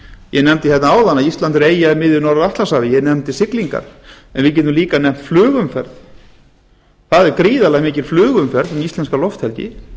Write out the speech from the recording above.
ég nefndi hérna áðan að ísland er eyja í miðju norður atlantshafi ég nefndi siglingar en við getum líka nefnt flugumferð það er gríðarlega mikil flugumferð um íslenska lofthelgi